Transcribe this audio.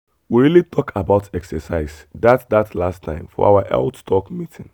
we really talk about exercise that that last time for our health talk meeting.